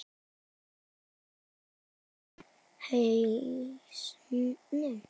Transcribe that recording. Eru ekki allir á hausnum?